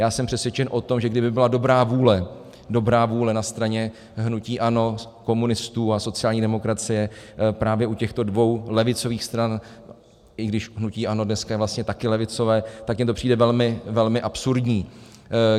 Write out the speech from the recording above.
Já jsem přesvědčen o tom, že kdyby byla dobrá vůle, dobrá vůle na straně hnutí ANO, komunistů a sociální demokracie, právě u těchto dvou levicových stran, i když hnutí ANO dneska je vlastně taky levicové, tak mi to přijde velmi, velmi absurdní.